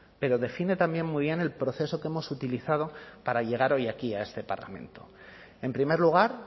pero define también muy bien el proceso que hemos utilizado para llegar hoy aquí a este parlamento en primer lugar